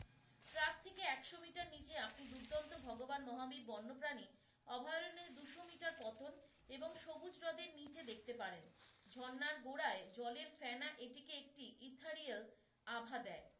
Track থেকে একশো metre নীচে আপনি দুর্দান্ত ভগবান মহাবীর বন্য প্রাণী অভয়ারণ্যের দুশো মিটার পতন এবং সবুজ হ্রদের নীচে দেখতে পারেন। ঝর্ণার গোড়ায় জলের ফ্যানা এটিকে একটি ইথারীয়াল আভা দেয়।